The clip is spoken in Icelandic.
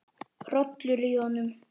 Hrollur í honum.